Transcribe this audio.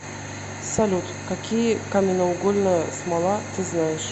салют какие каменноугольная смола ты знаешь